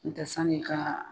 N tɛ sann'i ka